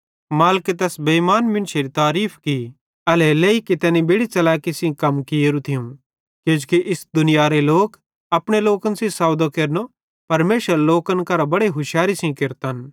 मालिके तैस बेइमान मुन्शेरी तारीफ़ की एल्हेरेलेइ कि तैनी बेड़ि च़लैकी सेइं कम कियेरू थियूं किजोकि इस दुनियारे लोक अपने लोकन सेइं सौदो केरनो परमेशरेरे लोकन करां बड़े हुशारी सेइं केरतन